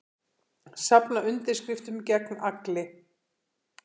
Safna undirskriftum gegn Agli